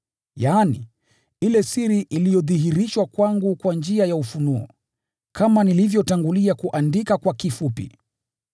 yaani, ile siri iliodhihirishwa kwangu kwa njia ya ufunuo, kama nilivyotangulia kuandika kwa kifupi.